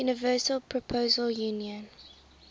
universal postal union